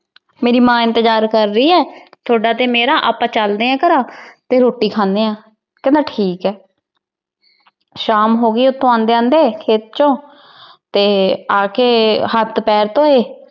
ਮੇਰੀ ਮਾਂ ਇੰਤਜਾਰ ਕਰ ਰਹੀ ਐ ਥੋਡਾ ਤੇ ਮੇਰਾ ਆਪਾ ਚੱਲਦੇ ਆ ਘਰਾਂ ਤੇ ਰੋਟੀ ਖਾਂਦੇ ਆ ਕਹਿੰਦਾ ਠੀਕ ਐ। ਸ਼ਾਮ ਹੋਗੀ ਉਥੋ ਆਂਦੇ ਆਂਦੇ ਖੇਤ ਚੋ ਤੇ ਆਕੇ ਹੱਥ ਪੈਰ ਧੋਏ।